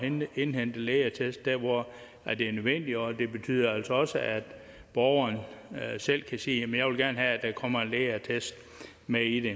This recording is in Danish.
indhente lægeattest der hvor det er nødvendigt og det betyder altså også at borgeren selv kan sige jeg vil gerne have at der kommer en lægeattest med i